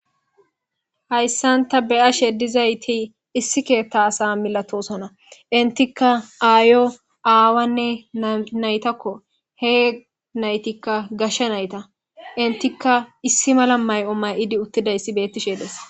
hayssanta beyashedizayti issi keetta asa milatosona intikka aayo aawanne naytakko he naytikka gashsha nayta intikka issi mala may7o may7idi uttida ssi bettishe des